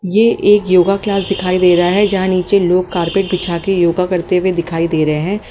ये एक योगा क्लास दिखाई दे रहा हैं जहाँ नीचे लोग कारपेट बिछा के योगा करते हुए दिखाई दे रहें हैं।